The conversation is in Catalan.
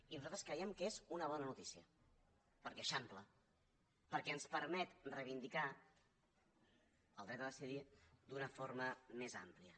i nosaltres creiem que és una bona notícia perquè eixampla perquè ens permet reivindicar el dret a decidir d’una forma més àmplia